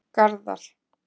Garðar